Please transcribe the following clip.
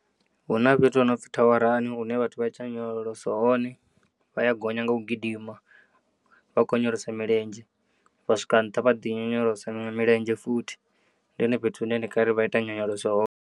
Huna fhethu hopfi thawarani hune vhathu vha ita nyonyoloso hone, vha ya gonya nga u gidima vha kho onyolosa milenzhe vha swika nnṱha vha ḓi onyolosa milenzhe futhi, ndi hone fhethu hune ndi ngari vhaita nyonyoloso hone.